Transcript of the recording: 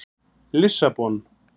Lissabon